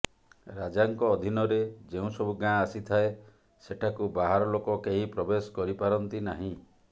ରାଜାଙ୍କ ଅଧୀନରେ ଯେଉଁସବୁ ଗାଁ ଆସିଥାଏ ସେଠାକୁ ବାହାର ଲୋକ କେହି ପ୍ରବେଶ କରିପାରନ୍ତି ନାହିଁ